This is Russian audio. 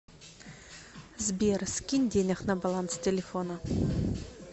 сбер скинь денег на баланс телефона